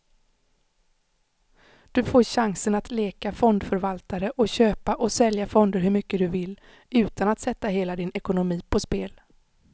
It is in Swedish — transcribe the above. Du får chansen att leka fondförvaltare och köpa och sälja fonder hur mycket du vill, utan att sätta hela din ekonomi på spel.